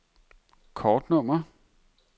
kortnummer